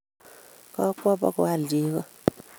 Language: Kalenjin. Kakwo bugoal cheko